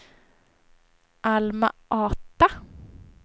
Alma-Ata